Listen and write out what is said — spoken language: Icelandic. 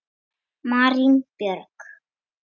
Marín Björk.